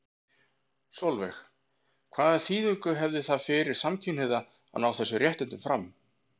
Sólveig: Hvaða þýðingu hefði það fyrir samkynhneigða að ná þessum réttindum fram?